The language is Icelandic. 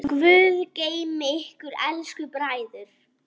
Guð geymi ykkur elsku bræður.